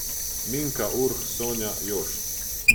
Minka, Urh, Sonja, Jošt.